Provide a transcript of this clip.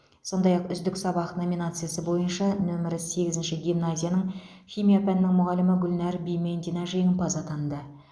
сондай ақ үздік сабақ номинациясы бойынша нөмірі сегізінші гимназияның химия пәнінің мұғалімі гүлнәр бимендина жеңімпаз атанды